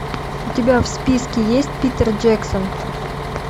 у тебя в списке есть питер джексон